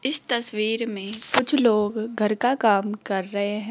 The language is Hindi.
इस तस्वीर में कुछ लोग घर का काम कर रहे हैं।